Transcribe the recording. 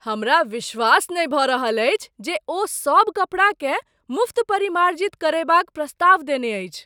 हमरा विश्वास नहि भऽ रहल अछि जे ओ सब कपड़ाकेँ मुफ्त परिमार्जित करयबाक प्रस्ताव देने अछि।